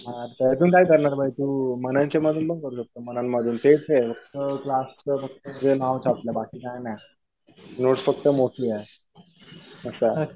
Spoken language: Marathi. त्यातून काय करणार भाई तू? तू मननचे मधून पण करू शकतो. मनन मधून तेच आहे. क्लासचं फक्त ते नाव छापलंय. बाकी काही नाही. नोट्स फक्त मोठी आहे. असं आहे.